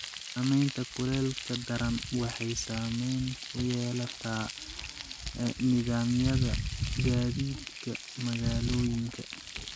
Saameynta kuleylka daran waxay saameyn ku yeelataa nidaamyada gaadiidka magaalooyinka.